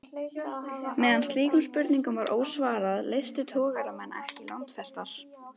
Meðan slíkum spurningum var ósvarað, leystu togaramenn ekki landfestar.